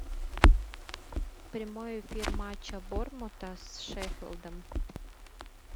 прямой эфир матча борнмута с шеффилдом